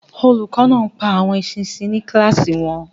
Olùkọ́ náà ń pa àwọn eṣinṣin ní kíláàsì wọn.